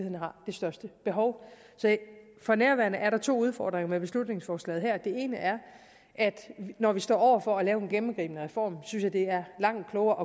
største behov så for nærværende er der to udfordringer med beslutningsforslaget her den ene er at når vi står over for at lave den gennemgribende reform synes jeg at det er langt klogere